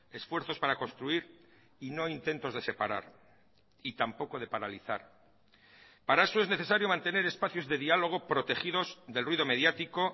esfuerzos para construir y no intentos de separar y tampoco de paralizar para eso es necesario mantener espacios de diálogo protegidos del ruido mediático